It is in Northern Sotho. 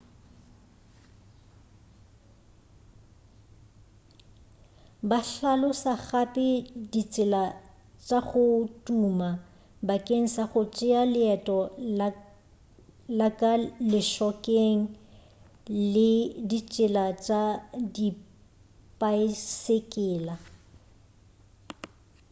ba hlalosa gape ditsela tša go tuma bakeng sa go tšea leeto la ka lešhokeng le ditsela tša dipaesekela